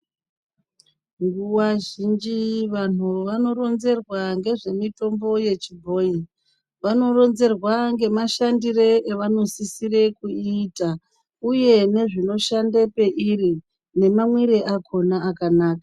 Nguwa zhinji vanhu vanoronzerwa ngezvemitombo yechibhoyi. Vanoronzerwa ngemashandire avanosisire kuita, uye nezvinoshande pairi nemamwire akona akanaka.